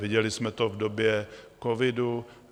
Viděli jsme to v době covidu.